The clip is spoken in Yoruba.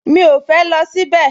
Mi ò fẹ́ lọ síbẹ̀